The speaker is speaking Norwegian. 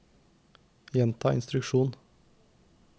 gjenta instruksjon